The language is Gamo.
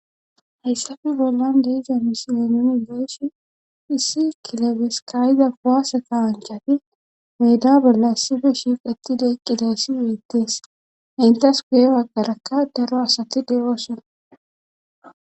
Hayssafe bollan deizamisilenoni geeshi issi kilebeskayda kuaase kawanchafi weda bolla issife shiif ittide eqqideyssi weettees intas guye waggarakka daro asati de7oosona.